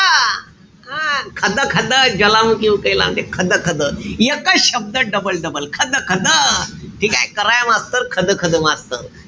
हा खदखद ज्वालामुखी उकयला म्हणते. खदखद. एकच शब्द double-double. खदखद. ठीकेय? कराय मास्तर खदखद